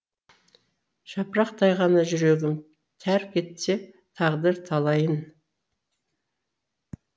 жапырақтай ғана жүрегім тәрк етсе тағдыр талайын